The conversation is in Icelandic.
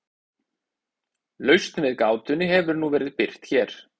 lausn við gátunni hefur nú verið birt hér